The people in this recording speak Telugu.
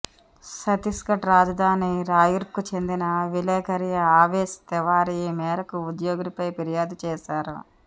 ఛత్తీస్గఢ్ రాజధాని రాయ్పూర్కు చెందిన విలేకరి ఆవేష్ తివారీ ఈ మేరకు ఉద్యోగినిపై ఫిర్యాదు చేశారు